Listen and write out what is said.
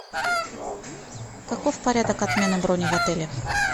каков порядок отмены брони в отеле